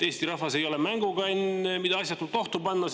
Eesti rahvas ei ole mängukann, mida asjatult ohtu panna!